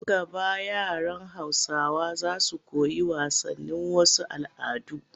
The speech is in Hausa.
Nan gaba yaran Hausawa za su koyi wasanin wasu al'adun